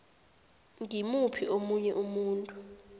ngimuphi omunye umuntu